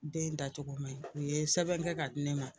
Den dacogo ma ɲi u ye sɛbɛn kɛ ka di ne ma